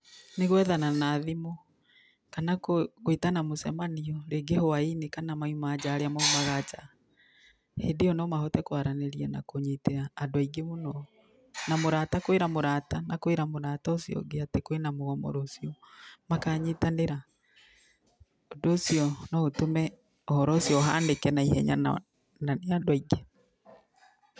Nĩ gwethana na thimũ kana gũĩtana mũcemanio rĩngĩ hwainĩ kana maima nja arĩa maumaga nja, hĩndĩ ĩyo no mahote kũaranĩria na kũnyitĩra andũ aingĩ mũno, na mũrata kũĩra mũrata na kũĩra mũrata ũcio ũngĩ atĩ kwĩna mũgomo rũcio makanyitanĩra. Ũndũ ũcio no ũtũme ũhoro ũcio ũhanĩke naihenya na nĩ andũ aingĩ.